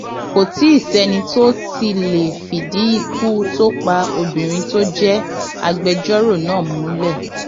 kò tí ì sẹni tó tí ì lè fìdí ikú tó pa obìnrin tó jẹ agbẹjọrò náà múlẹ